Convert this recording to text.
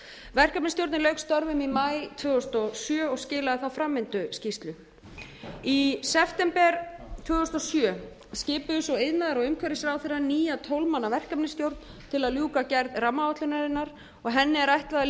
verkefnisstjórnin lauk störfum í maí tvö þúsund og sjö og skilaði þá framvinduskýrslu í september tvö þúsund og sjö skipuðu svo iðnaðar og umhverfisráðherra nýja tólf manna verkefnisstjórn til að ljúka gerð rammaáætlunarinnar og henni er ætlað að